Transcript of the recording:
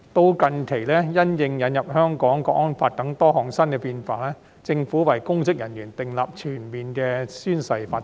直至近期，因應《香港國安法》等多項新變化，政府已為公職人員訂立全面的宣誓規定。